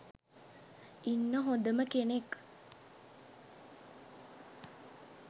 ඉන්න හොඳම කෙනෙක්